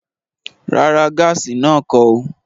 Rárá, gaasi náà kọ̀ ọ́